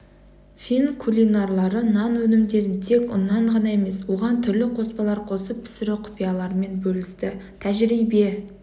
фин кулинарлары нан өнімдерін тек ұннан ғана емес оған түрлі қоспалар қосып пісіру құпияларымен бөлісті тәжірбие